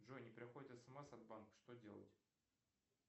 джой не приходит смс от банка что делать